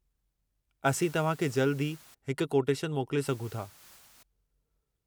असीं तव्हां खे जल्दु ई हिकु कोटेशन मोकले सघूं था।